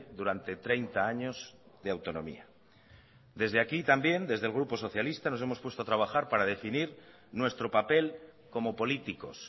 durante treinta años de autonomía desde aquí también desde el grupo socialista nos hemos puesto a trabajar para definir nuestro papel como políticos